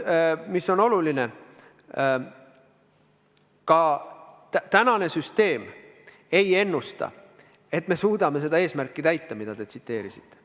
Oluline on, et ka praeguse süsteemi puhul pole ennustatav, et me suudame seda eesmärki täita, mida te tsiteerisite.